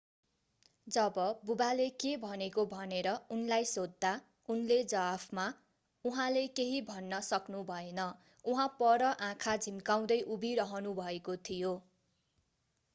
जब बुवाले के भनेको भनेर उनलाई सोध्दा उनले जवाफमा उहाँले केही भन्न सक्नुभएन उहाँ पर आँखा झिम्काउँदै उभिरहनुभएको थियो